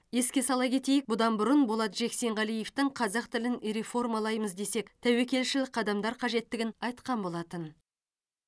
еске сала кетейік бұдан бұрын болат жексенғалиевтің қазақ тілін реформалаймыз десек тәуекелшіл қадамдар қажеттігін айтқан болатын